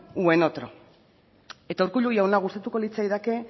u en otro eta urkullu jauna gustatuko litzaidake